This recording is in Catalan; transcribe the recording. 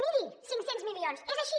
miri cinc cents milions és així